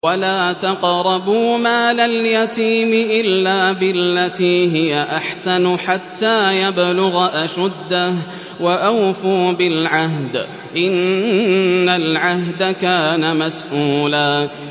وَلَا تَقْرَبُوا مَالَ الْيَتِيمِ إِلَّا بِالَّتِي هِيَ أَحْسَنُ حَتَّىٰ يَبْلُغَ أَشُدَّهُ ۚ وَأَوْفُوا بِالْعَهْدِ ۖ إِنَّ الْعَهْدَ كَانَ مَسْئُولًا